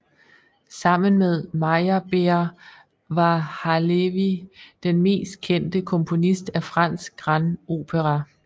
Sammen med Meyerbeer var Halévy den mest kendte komponist af fransk grand opéra